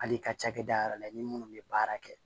Hali i ka cakɛda yɛrɛ la i ni munnu bɛ baara kɛ